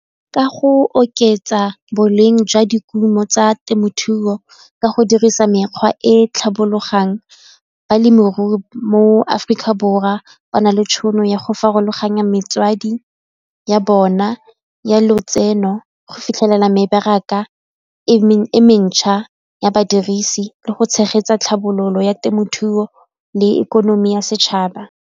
Ka go oketsa boleng jwa dikumo tsa temothuo ka go dirisa mekgwa e tlhabologang, balemirui mo Aforika Borwa ngwana le tšhono ya go farologanya ya bona ya lotseno go fitlhelela mebaraka e mentšha ya badirisi le go tshegetsa tlhabololo ya temothuo le ikonomi ya setšhaba.